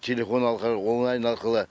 телефон арқылы онлайн арқылы